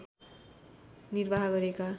निर्वाह गरेका